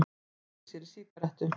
Kveikti sér í sígarettu.